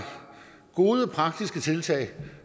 gode og praktiske tiltag